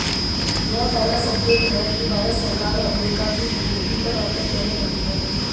यह पहला संकेत है कि भारत सरकार अमरीका की घुड़की पर हरकत करने लगी है